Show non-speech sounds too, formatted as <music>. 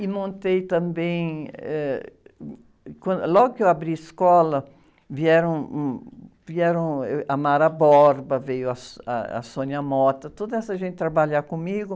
E montei também, eh... Quan, logo que eu abri a escola, vieram, hum, vieram, êh, a Mara Borba, veio a, <unintelligible> a Sônia Mota, toda essa gente trabalhar comigo.